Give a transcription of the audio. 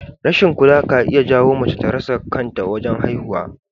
Rashin kula ka iya jawowa mace ta rasa kanta wajen haihuwa